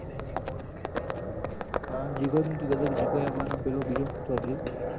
હમ અન જીગો તું કેતો જીગોય આવવાનો હ ન પેલો બીજો ચૌધરી